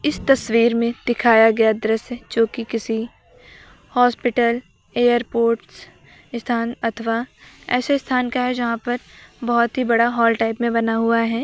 इस तस्वीर में दिखाया गया दृश्य जो कि किसी हॉस्पिटल एयरपोर्ट्स स्थान अथवा ऐसे स्थान का है जहां पर बहोत ही बड़ा हॉल टाइप में बना हुआ है।